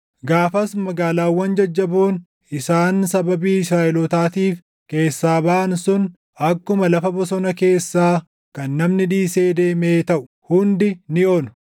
Gaafas magaalaawwan jajjaboon isaan sababii Israaʼelootaatiif keessaa baʼan sun akkuma lafa bosona keessaa kan namni dhiisee deemee taʼu. Hundi ni onu.